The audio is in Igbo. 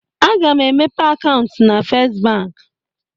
Aga m emepe akaụntụ na Fest bank.